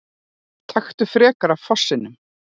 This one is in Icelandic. Taktu frekar af fossinum!